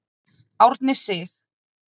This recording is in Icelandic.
Árni Sig.